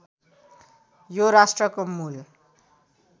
यो राष्ट्रको मूल